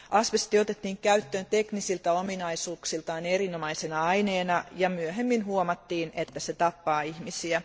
Asbesti otettiin käyttöön teknisiltä ominaisuuksiltaan erinomaisena aineena ja myöhemmin huomattiin, että se tappaa ihmisiä.